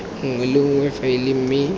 nngwe le nngwe faele mme